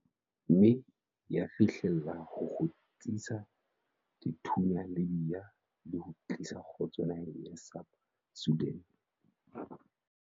mme ya fihlella ho kgutsisa dithunya Libya le ho tlisa kgotso naheng ya South Sudan.